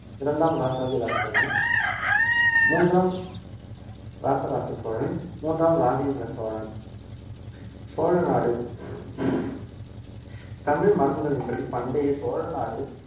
இரண்டாம் ராசாதிராச சோழன் மூன்றாம் ராசராச சோழன் மூன்றாம் ராஜேந்திர சோழன் சோழநாடு தமிழ் மரபுகளின் படி பண்டைய சோழநாடு